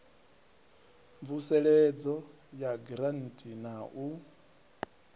mvuseledzo ya giranthi na u